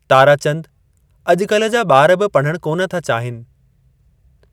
ताराचंद अॼुकल्ह जा ॿार बि पढ़णु कोन था चाहीनि।